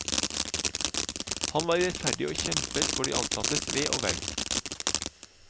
Han var rettferdig og kjempet for sine ansattes ve og vel.